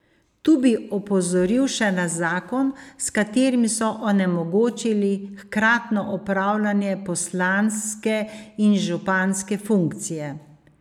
Tu bi opozoril še na zakon, s katerim so onemogočili hkratno opravljanje poslanske in županske funkcije.